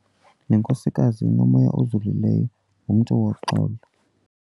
Le nkosikazi inomya ozolileyo, ngumntu woxolo.